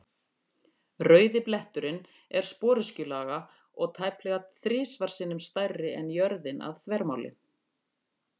Rauði bletturinn er sporöskjulaga og tæplega þrisvar sinnum stærri en jörðin að þvermáli.